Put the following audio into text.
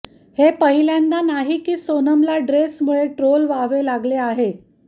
हे पहिल्यांदा नाही की सोनमला ड्रेसमुळे ट्रोल व्हावे लागले आहे